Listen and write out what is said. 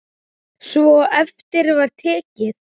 Svo eftir var tekið.